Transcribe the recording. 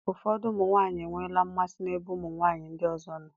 Ụfọdụ ụmụ nwaanyị enweela mmasị n'ebe ụmụ nwaanyị ndị ọzọ nọ.